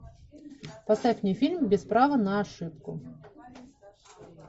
поставь мне фильм без права на ошибку